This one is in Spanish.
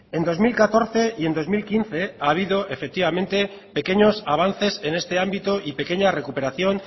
en dos mil catorce y en dos mil quince ha habido efectivamente pequeños avances en este ámbito y pequeña recuperación